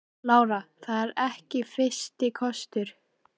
Lára: Það er ekki fyrsti kostur?